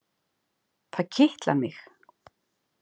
Það kitlar mig.